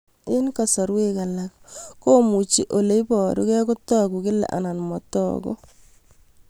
Eng' kasarwek alak komuchi ole parukei kotag'u kila anan matag'u